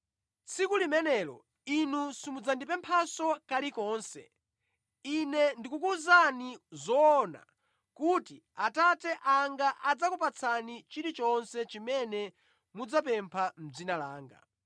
Tsiku limenelo inu simudzandipemphanso kalikonse. Ine ndikukuwuzani zoona kuti Atate anga adzakupatsani chilichonse chimene mudzapempha mʼdzina langa.